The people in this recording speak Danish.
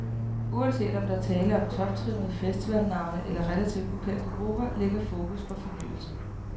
Uanset om der er tale om toptrimmede festivalnavne eller relativt ukendte grupper, ligger fokus på fornyelse.